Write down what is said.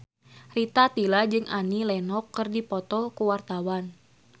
Rita Tila jeung Annie Lenox keur dipoto ku wartawan